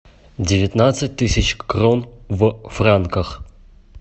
девятнадцать тысяч крон в франках